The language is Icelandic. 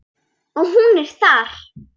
Og hún er þar.